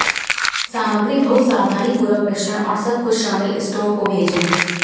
सामग्री बहुत सावधानीपूर्वक मिश्रण और सब कुछ शामिल स्टोव को भेजें